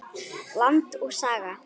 Land og Saga.